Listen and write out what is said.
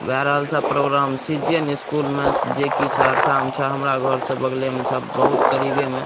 भै रहल सब प्रोग्राम सी.जी.एन. स्कूल में जे की सहरसा में छे हमरा घर से बगले में छे बहुत करीबे में --